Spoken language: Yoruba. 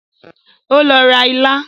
O lọ ra ilá